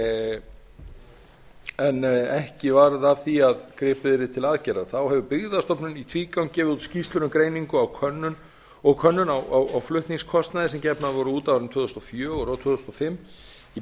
á flutningsjöfnunarstyrkjum en ekki varð af því að gripið yrði til aðgerða þá hefur byggðastofnun í tvígang gefið út skýrslur um greiningu á könnun á flutningskostnaði sem gefnar voru út á árunum tvö þúsund og fjögur og tvö þúsund og fimm í